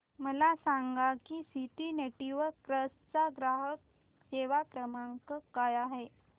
मला सांगा की सिटी नेटवर्क्स चा ग्राहक सेवा क्रमांक काय आहे